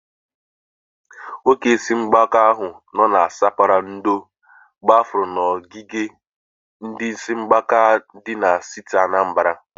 Nwoke isi mgbaka ahu nọ na spera ndo gbafụrụ n'ogige ndi isi mgbaka di na steeti Anambara.